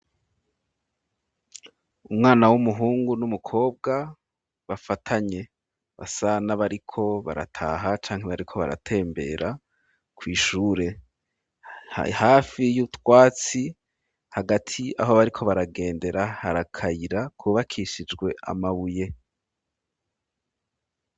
Umwana w'umuhungu n'umukobwa bafatanye basa na bariko barataha canke bariko baratembera kw'ishure hafi y'utwatsi hagati aho bariko baragendera hari akayira ku bakishijwe amabuye